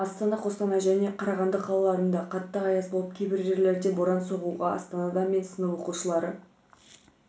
астана қостанай және қарағанды қалаларында қатты аяз болып кейбір жерлерде боран соғуда астанада мен сынып оқушылары